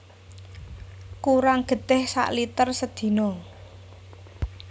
Kurang getih sak liter sedina